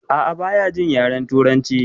A'a baya jin yaren turanci